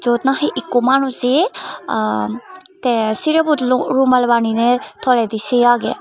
yot nahi ikko manuse aa te sirebot lu rumal banine toledi se agey.